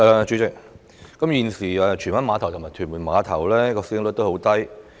主席，荃灣碼頭和屯門碼頭現時的使用率偏低。